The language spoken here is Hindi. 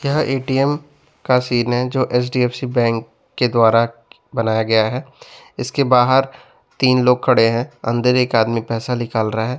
यह ए_टी_एम का सीन है जो एच_डी_एफ_सी बैंक के द्वारा बनाया गया है इसके बाहर तीन लोग खड़े हैं अंदर एक आदमी पैसा निकाल रहा है।